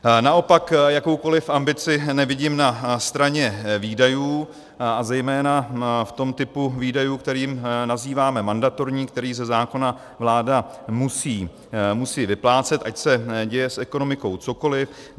Naopak jakoukoliv ambici nevidím na straně výdajů a zejména v tom typu výdajů, které nazýváme mandatorní, které ze zákona vláda musí vyplácet, ať se děje s ekonomikou cokoliv.